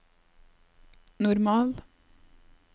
normal